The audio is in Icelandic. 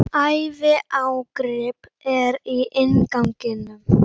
Æviágrip er í innganginum.